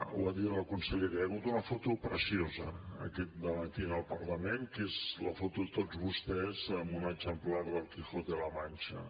ho ha dit la consellera hi ha hagut una foto preciosa en aquest debat i en el parlament que és la foto de tots vostès amb un exemplar d’el quijote de la mancha